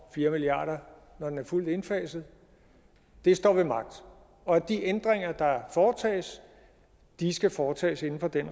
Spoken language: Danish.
og fire milliard kr når den er fuldt indfaset står ved magt og at de ændringer der foretages skal foretages inden for den